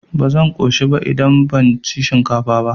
Ba zan ƙoshi ba idan ban ci shinkafa ba.